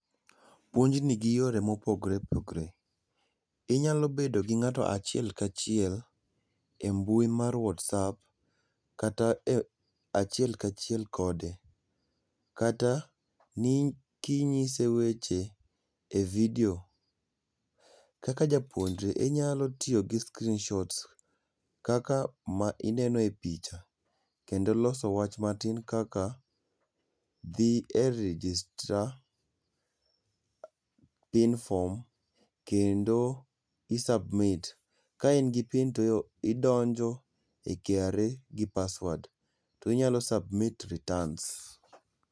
Puonj ni gi yore ma opogor opogore, inyalo bedo gi ngato achiel kachiel e mbui mar whatsapp kata achiel kachiel kode kata ni inyise weche e video. Kaka japuonjre inyalo tiyo gi s creenshots kaka ma ineno e picha kendo loso wach matin kaka dhi e registra, inform kendo i submit. Ka in gi pin to idonjo e KRA gi password to inyalo submit returns